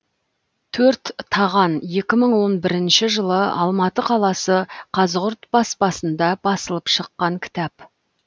төрт таған екі мың он бірінші жылы алматы қаласы қазығұрт баспасында басылып шыққан кітап